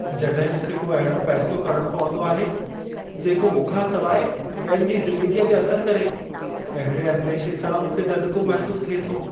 जॾहिं मूंखे को अहिड़ो फ़ैसिलो करणो पवंदो आहे जेको मूंखां सवाइ ॿियनि जी ज़िंदगीअ ते असरु करे, अहिड़े अंदेशे सां मूंखे ददिको महिसूसु थिए थो।